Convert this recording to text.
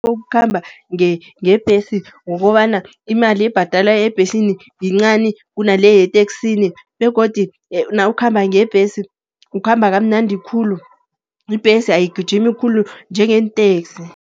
Ukukhamba ngebhesi ukobana imali ebhadalwako ebhesini yincani, kunale yeteksini. Begodu nawukhamba ngebhesi ukhamba kamnandi khulu, ibhesi ayigijimi khulu njengeenteksi.